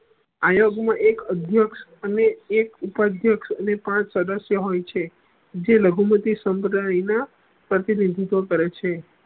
આયોગ મા એક અધ્ય અને એક ઉપાદીયક્ષ અને પાંચ સદસ્ય હોય છે જે લઘુમતી સમુદાય ના પ્રતિનિધિત્વ કરે છે